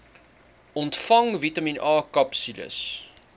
ontvang vitamien akapsules